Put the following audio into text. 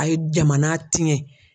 A ye jamana tiɲɛ.